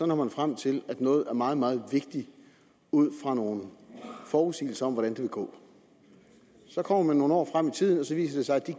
når frem til at noget er meget meget vigtigt ud fra nogle forudsigelser om hvordan det vil gå så kommer man nogle år frem i tiden og så viser det sig at det